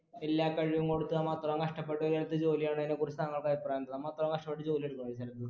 എല്ലാ കഴിവും കൊടുത്ത് നമ്മൾ അത്രം കഷ്ട്ടപെട്ട് എടുത്ത ജോലി കളയണെ കുറിച്ച് താങ്കൾക്ക് അഭിപ്രായെന്താ നമ്മളത്ര കഷ്ടപ്പെട്ട് ജോലിയെടു